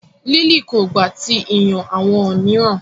Lily ko gba ti iyan awọn miiran